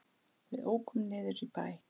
Við ókum niður í bæ.